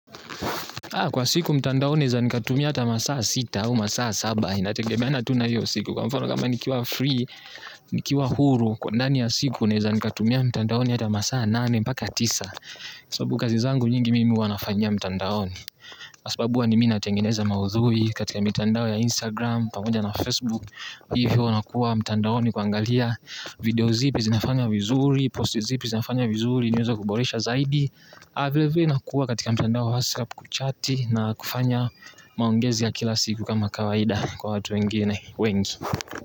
Kwa siku mtandaoni naeza nikatumia hata masaa sita au masaa saba inategemeana tu na hiyo siku kwa mfano kama nikiwa free nikiwa huru kwa ndani ya siku naeza nikatumia mtandaoni hata masaa nane mbaka tisa. Sababu kazi zangu nyingi mimi huwa nafanyia mtandaoni kwa sababu huwa ni mimi natengeneza maudhui katika mitandao ya instagram pamoja na facebook. Hivyo nakuwa mtandaoni kuangalia video zipi zinafanya vizuri. Post zipi zinafanya vizuri niweze kuboresha zaidi. Ha vile vile nakua katika mtandao hasa kuchati na kufanya maongezi ya kila siku kama kawaida kwa watu wengine.